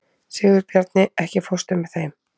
Sigurbjarni, ekki fórstu með þeim?